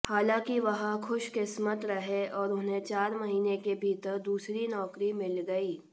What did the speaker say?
हालांकि वह खुशकिस्मत रहे और उन्हें चार महीने के भीतर दूसरी नौकरी मिल गई